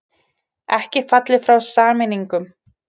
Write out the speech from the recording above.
Ekki fallið frá sameiningum